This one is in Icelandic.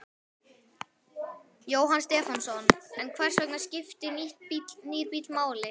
Jóhannes Stefánsson: En hvers vegna skiptir nýr bíll máli?